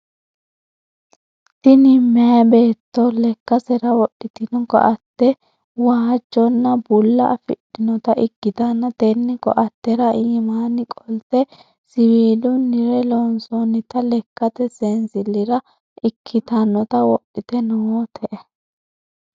Tini meyaa beetto lakasera wodhitino ko"atte woojjonna bulla afidhinota ikkitanna tenne ko"attera iimaanni qolte siviilunnil loonsonnita lekkate seensillira ikkitannota wodhite noote.